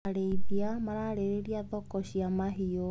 Arĩithia mararĩrĩria thokoa cia mahiũ.